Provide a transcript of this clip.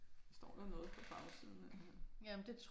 Der står da noget på bagsiden et eller andet